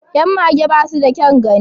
Yan mage ba su da kyan gani